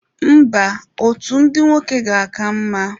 Mba, otu ndị nwoke ga-aka mma.